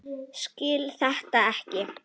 Skil þetta ekki.